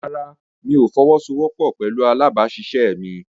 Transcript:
Rárá, mi ò fọwọ́sowọ́pọ̀ pẹ̀lú alábàáṣiṣẹ́ mi.